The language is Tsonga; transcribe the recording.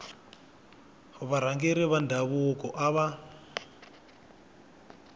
varhangeri va ndhavuko a va